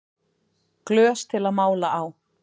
Glös til að mála á